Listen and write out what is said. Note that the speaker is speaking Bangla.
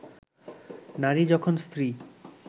নারী যখন স্ত্রী